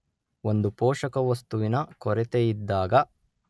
ಒಂದು ಪೋಷಕವಸ್ತುವಿನ ಕೊರತೆಯಿದ್ದಾಗ